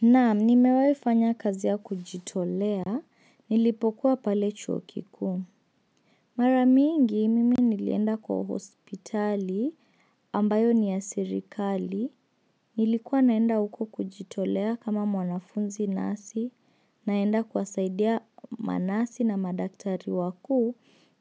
Naam, nimewaifanya kazi ya kujitolea, nilipokuwa pale chuo kikuu Mara mingi, mimi nilienda kwa hospitali, ambayo ni ya serikali Nilikuwa naenda uko kujitolea kama mwanafunzi nasi, naenda kwasaidia manasi na madaktari wakuu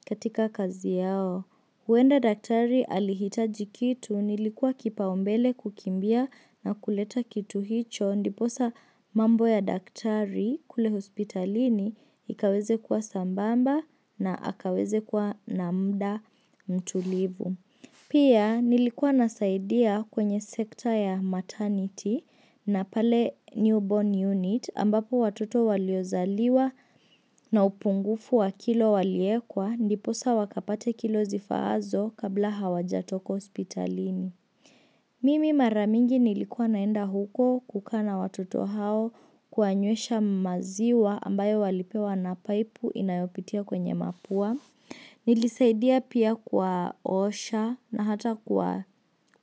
katika kazi yao. Uenda daktari alihitaji kitu nilikuwa kipaombele kukimbia na kuleta kitu hicho ndiposa mambo ya daktari kule hospitalini ikaweze kuwa sambamba na akaweze kuwa na mda mtulivu. Nilikuwa naenda uko kujitolea kama mwanafunzi nasi, naenda kwasaidia manasi na madaktari wakuu katika kazi yao. Na pale newborn unit ambapo watoto waliozaliwa na upungufu wa kilo waliekwa ndiposa wakapate kilo zifaazo kabla hawajatoka hospitalini. Mimi mara mingi nilikuwa naenda huko kukaa na watoto hao kuwa nyuesha maziwa ambayo walipewa na paipu inayopitia kwenye mapua. Nilisaidia pia kuwaosha na hata kwa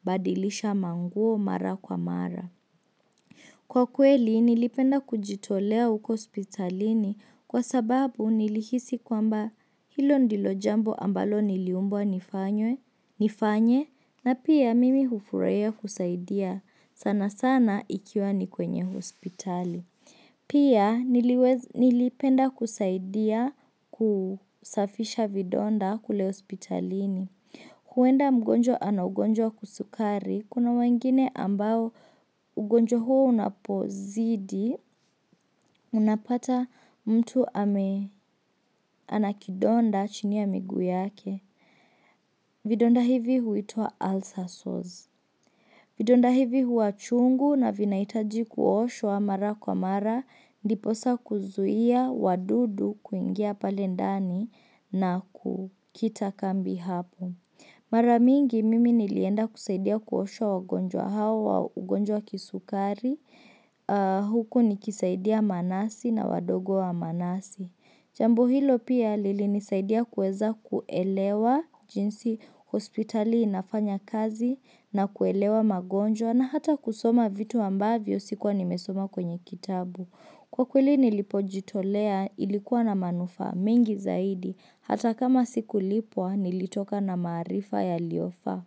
badilisha manguo mara kwa mara Kwa kweli nilipenda kujitolea uko hospitalini kwa sababu nilihisi kwamba hilo ndilo jambo ambalo niliumbwa nifanye na pia mimi ufurahia kusaidia sana sana ikiwa ni kwenye hospitali Pia nilipenda kusaidia kusafisha vidonda kule hospitalini huenda mgonjwa anagonjwa wa kisukari, Kuna wengine ambao ugonjwa huo unapozidi Unapata mtu anakidonda chini ya miguu yake Vidonda hivi huitwa ulcer sores Vidonda hivi huwa chungu na vinaitaji kuoshwa mara kwa mara Ndiposa kuzuia wadudu kuingia pale ndani na kukitakambi hapo Mara mingi mimi nilienda kusaidia kuosha wagonjwa hao wa ugonjwa kisukari Huku nikisaidia manasi na wadogo wa manasi Jambo hilo pia lilinisaidia kuweza kuelewa jinsi hospitali inafanya kazi na kuelewa magonjwa na hata kusoma vitu ambavyo sikuwa nimesoma kwenye kitabu. Kwa kweli nilipojitolea ilikuwa na manufaa mengi zaidi hata kama sikulipwa nilitoka na maarifa yaliyofaa.